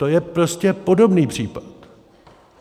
To je prostě podobný případ.